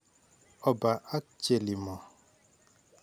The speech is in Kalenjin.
Opa ak Chelimo.